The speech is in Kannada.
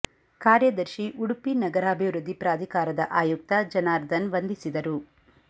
ಕಾ ರ್ಯದರ್ಶಿ ಉಡುಪಿ ನಗರಾಭಿವೃದ್ಧಿ ಪ್ರಾ ಧಿಕಾರದ ಆಯುಕ್ತ ಜನಾರ್ದನ್ ವಂದಿಸಿದರು